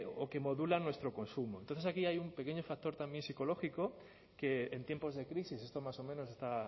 o que modulan nuestro consumo entonces aquí hay un pequeño factor también psicológico que en tiempos de crisis esto más o menos está